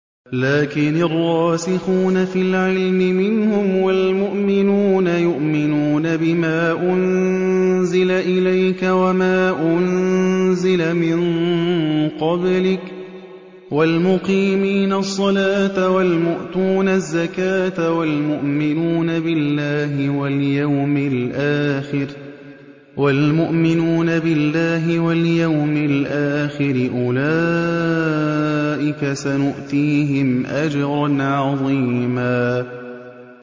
لَّٰكِنِ الرَّاسِخُونَ فِي الْعِلْمِ مِنْهُمْ وَالْمُؤْمِنُونَ يُؤْمِنُونَ بِمَا أُنزِلَ إِلَيْكَ وَمَا أُنزِلَ مِن قَبْلِكَ ۚ وَالْمُقِيمِينَ الصَّلَاةَ ۚ وَالْمُؤْتُونَ الزَّكَاةَ وَالْمُؤْمِنُونَ بِاللَّهِ وَالْيَوْمِ الْآخِرِ أُولَٰئِكَ سَنُؤْتِيهِمْ أَجْرًا عَظِيمًا